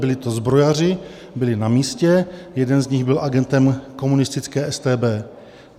Byli to zbrojaři, byli na místě, jeden z nich byl agentem komunistické StB.